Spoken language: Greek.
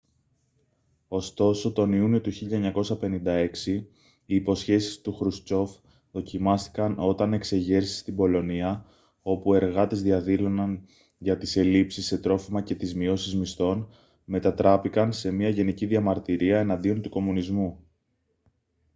ωστόσο τον ιούνιο του 1956 οι υποσχέσεις του χρουστσόφ δοκιμάστηκαν όταν εξεγέρσεις στην πολωνία όπου εργάτες διαδήλωναν για τις ελλείψεις σε τρόφιμα και τις μειώσεις μισθών μετατράπηκαν σε μια γενική διαμαρτυρία εναντίον του κομμουνισμού